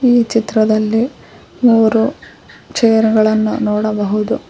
ಈ ಚಿತ್ರದಲ್ಲಿ ಮೂರು ಚೇರ್ ಗಳನ್ನು ನೋಡಬಹುದು.